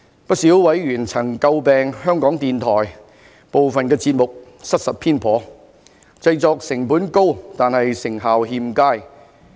不少委員曾詬病香港電台部分節目失實偏頗，製作成本高但成效欠佳。